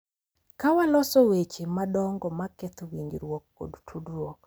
Ka waloso weche madongo ma ketho winjruok kod tudruok.